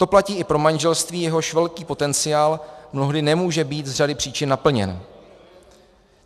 To platí i pro manželství, jehož velký potenciál mnohdy nemůže být z řady příčin naplněn.